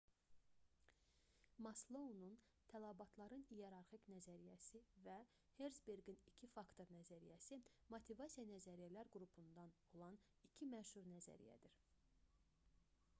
maslounun tələbatların i̇yerarxik nəzəriyyəsi və herzberqin i̇ki faktor nəzəriyyəsi motivasiya nəzəriyyələr qrupundan olan iki məşhur nəzəriyyədir